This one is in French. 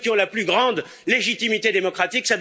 Ce sont ceux qui ont la plus grande légitimité démocratique.